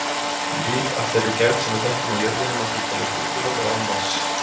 Líf af þeirri gerð sem við þekkjum á jörðinni má því teljast útilokað án vatns.